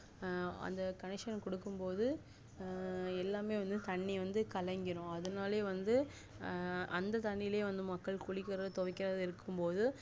அஹ் அந்த coonneciton கொடுக்கும்போத அஹ் எல்லாமே வந்து தண்ணி வந்து கலங்கிரும் அதுனாலே வந்து அஹ் அந்த தண்ணில வந்து மக்கள் குளிகுரது இருக்கும்போது